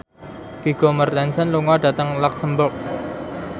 Vigo Mortensen lunga dhateng luxemburg